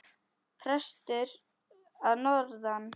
Prestur að norðan!